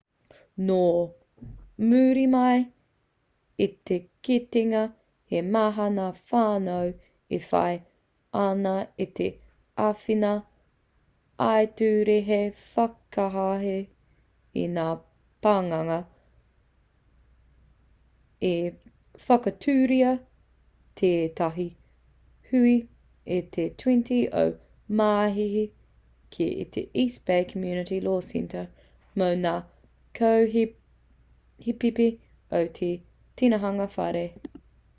nō muri mai i te kitenga he maha ngā whānau e whai ana i te āwhina ā-ture hei whakahē i ngā pananga i whakatūria tētahi hui i te 20 o māehe ki te east bay community law centre mō ngā kaupēhipēhi o te tinihanga whare